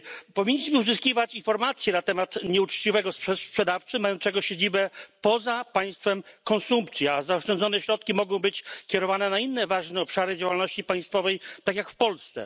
Powinniśmy uzyskiwać informacje na temat nieuczciwego sprzedawcy mającego siedzibę poza państwem konsumpcji, a zaoszczędzone środki mogą być kierowane na inne ważne obszary działalności państwowej, tak jak w Polsce.